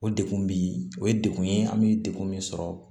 O degun bi o ye dekun ye an bɛ dekun min sɔrɔ